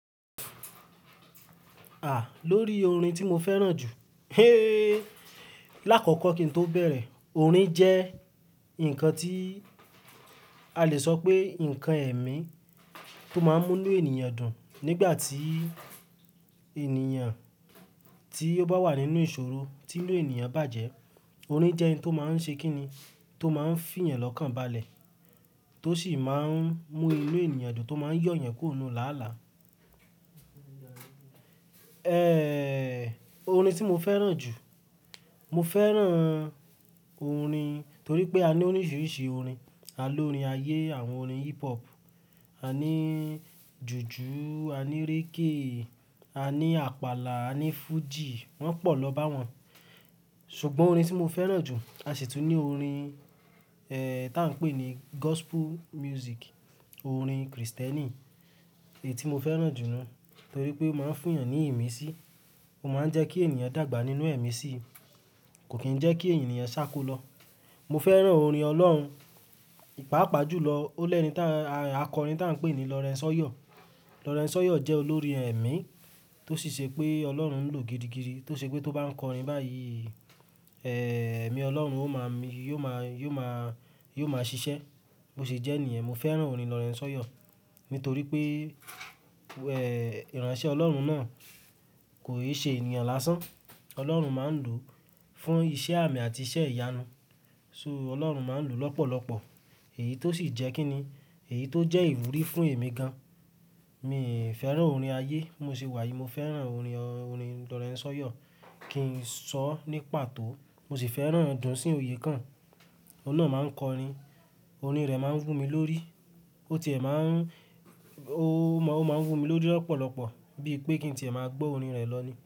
À lórí orin tí mo fẹ́ràn jù ehhh láàkọ́kọ́ kí n tó bẹ̀rẹ̀, orin jẹ́ ǹkan tí a le sọ pé ǹkan ẹ̀mí tó máa ń mú inú ènìyàn dùn. Nígbà tí ènìyàn tí ó bá wà nínú ìṣòro, tí inú ènìyàn bàjẹ́, orin jẹ́ ǹkan tó máa ń ṣe kíni, tó máa ń fiyàn lọ́kàn balẹ̀, tó sì máa ń mú inú ènìyàn dùn, tó máa ń yọ̀ èyàn kùro nu láàlá. Orin tí mo fẹ́ràn jù, mo fẹ́ràn orin torí pé a ní oríṣìíríṣìí orin. A ní orin ayé, àwọn orin hip hop, a ní jùjú, a ní régè, a ní àpàlà, a ní fújì, wọ́n pọ̀ lọ́ bá wọn. Ṣùgbọ́n orin tí mo fẹ́ràn jù, a sì tún ní orin, tá ń pè ní gospel music, orin Kristẹni. Èyí tí mo fẹ́ràn jù nú torí pé ó máa ń fún èèyàn ní ìmísí, ó máa ń jẹ́ kí ènìyàn dàgbà nínú ẹ̀mí sí, kò kí ń jẹ́ kí ènìyàn ṣáko lọ. Mo fẹ́ràn orin Ọlọ́run, pàápàá jùlọ ó lẹ́ni tá, akọrin ta ń pè ní Lawrence Oyor. Lawrence Oyor jẹ́ olórín ẹ̀mí tó sì ṣe pé Ọlọ́run ń lò gidigidi, tó ṣe pé tó bá ń kọrin báyìí, ẹ̀mí Ọlọ́run ó máa mi, yíò máa, yiò máa, yiò máa ṣiṣẹ́. Bó ṣe jẹ́ nìyẹn, mo fẹ́ràn orin Lawrence Oyo nítorí pé ìránṣẹ́ Ọlọ́run náà kò è ṣe ènìyàn lásán. Ọlọ́run máa ń lò fún iṣẹ́ àmì àti iṣẹ́ ìyanu. So, Ọlọ́run máa ń lò lọ́pọ̀lọ́pọ̀. Èyí tó sì jẹ́ kí ni, èyí tó jẹ́ ìwúrí fún èmi gan. Mi fẹ́ràn orin ayé, bimo ṣe wà yìí, mo fẹ́ràn orin, orin Lawrence Oyor. Kì í sọ ní pàtó. Mo sì fẹ́ràn Dunsin Oyekan, ọ̀un nà máa ń kọrin, orin rẹ̀ máa ń wù mí lórí. Ó ti è máa ń, ó máa, ó máa ń wù mí lórí lọ́pọ̀lọ́pọ̀ bí i pé kí n tí è máa gbọ́ orin rẹ̀ lọ ní.